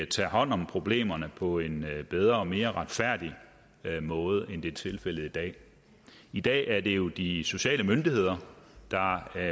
tager hånd om problemerne på en bedre og mere retfærdig måde end det er tilfældet i dag i dag er det jo de sociale myndigheder der